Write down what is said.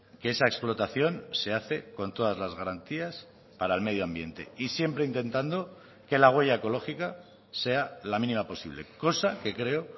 que esa explotación se hace con todas las garantías para el medio ambiente y siempre intentando que la huella ecológica sea la mínima posible cosa que creo